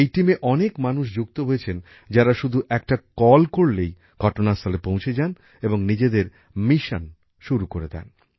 এই দলে অনেক মানুষ যুক্ত হয়েছেন যারা শুধু একটা কল করলেই ঘটনাস্থলে পৌঁছে যান এবং নিজেদের মিশন শুরু করে দেন